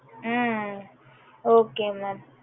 hmm okay mam